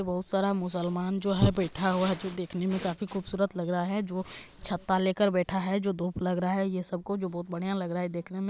बहुत सारा मुस्लमान जो है बैठा हुआ है जो देखने में काफी खूबसूरत लग रहा है जो छाता लेकर बैठा है जो धुप लग रहा है। ये सब को जो बहुत बढ़िया लग रहा है देखने में।